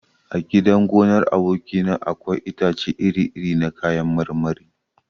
A gidan gonar aboki na akwai itace iri iri na kayan marmari.